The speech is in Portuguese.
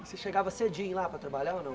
Você chegava cedinho lá para trabalhar ou não?